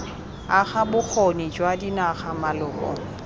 aga bokgoni jwa dinaga maloko